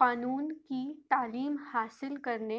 قانون کی تعلیم حاصل کرنے